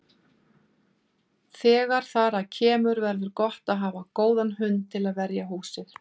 Þegar þar að kemur verður gott að hafa góðan hund til að verja húsið.